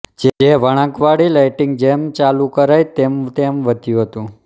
જે વળાંકવાળી લાઇટિંગ જેમ ચાલું કરાઇ તેમતેમ વધ્યું હતું